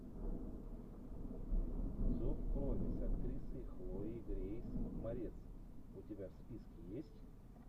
зов крови с актрисой хлоей грейс морец у тебя в списке есть